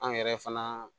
An yɛrɛ fana